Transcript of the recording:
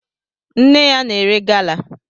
Nne ya na-ere gala